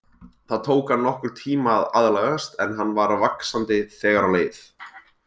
Það tók hann nokkurn tíma að aðlagast en hann var vaxandi þegar á leið.